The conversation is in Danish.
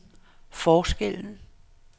forskellen